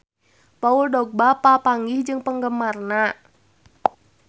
Paul Dogba papanggih jeung penggemarna